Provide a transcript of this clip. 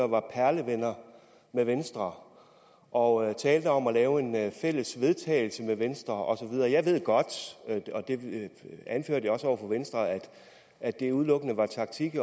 var perlevenner med venstre og talte om at lave et fælles vedtagelse med venstre og så videre jeg ved godt og det anførte jeg også over for venstre at det udelukkende var taktik